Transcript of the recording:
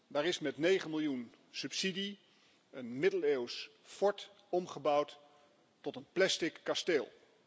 Daar is met negen miljoen euro subsidie een middeleeuws fort omgebouwd tot een plastic kasteel.